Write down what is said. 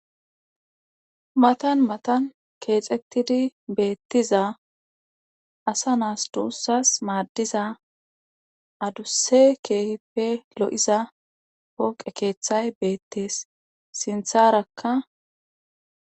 matan matan keexettidi beettiza asa naas doossas maaddiza adusse keehippe lo7iza poqe keeththay beettees sintharakka